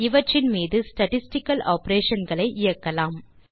இவற்றின் மீது statistical operation களை இயக்கலாம்